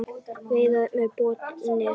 Veiðar með botnnet